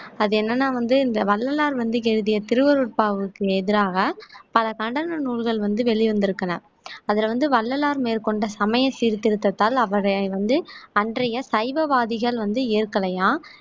அது என்னன்னா வந்து இந்த வள்ளலார் வந்து எழுதிய திருவருட்பாவுக்கு எதிராக பல கண்டன நூல்கள் வந்து வெளிவந்திருக்கு அதுல வந்து வள்ளலார் மேற்கொண்ட சமய சீர்திருத்தத்தால் அவரை வந்து அன்றைய சைவவாதிகள் வந்து ஏற்கலையாம்